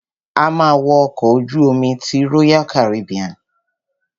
A ma wo ọkọ̀ ojú omi ti royal Caribbean.